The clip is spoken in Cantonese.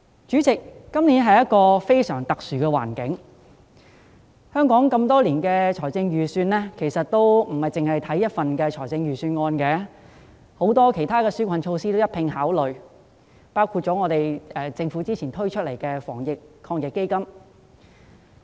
主席，今年的環境非常特殊，香港多年來的預算其實並非只是單看一份預算案，還會一併考慮其他紓困措施，包括政府早前推出的防疫抗疫基金。